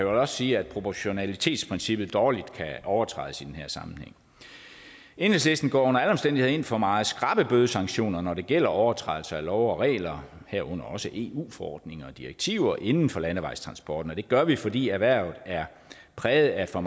også sige at proportionalitetsprincippet dårligt kan overtrædes i den her sammenhæng enhedslisten går under alle omstændigheder ind for meget skrappe bødesanktioner når det gælder overtrædelse af love og regler herunder også eu forordninger og direktiver inden for landevejstransporten og det gør vi fordi erhvervet er præget af for